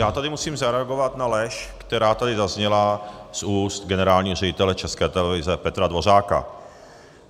Já tady musím zareagovat na lež, která tady zazněla z úst generálního ředitele České televize Petra Dvořáka.